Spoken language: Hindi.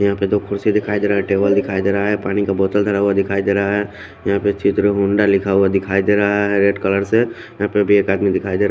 यहा पे दो कुड्सी दिखाई देरा है टेबल सा दिखाई देरा है पाणी का बोटल धरा हुआ दिखाई देरा है यहा पे चित्र हुंदा लिखा हुआ दिखाई देरा है रेड कलर से यहा पे भी एक आदमी दिखाई देरा है।